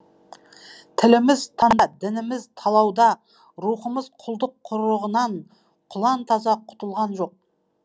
тіліміз дініміз талауда рухымыз құлдық құрығынан құлантаза құтылған жоқ